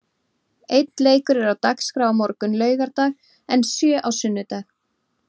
Einn leikur er á dagskrá á morgun, laugardag en sjö á sunnudag.